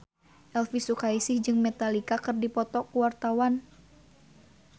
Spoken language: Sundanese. Elvi Sukaesih jeung Metallica keur dipoto ku wartawan